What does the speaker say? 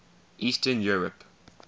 eastern europe